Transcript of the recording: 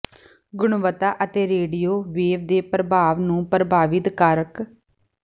ਗੁਣਵੱਤਾ ਅਤੇ radio wave ਦੇ ਪ੍ਰਭਾਵ ਨੂੰ ਪ੍ਰਭਾਵਿਤ ਕਾਰਕ